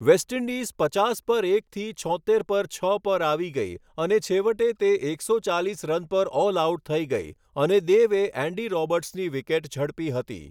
Waste Indies પચાસ પર એકથી છોત્તેર પર છ પર આવી ગઈ અને છેવટે તે એકસો ચાલીસ રન પર ઓલઆઉટ થઈ ગઈ અને દેવે એન્ડી રોબર્ટ્સની વિકેટ ઝડપી હતી.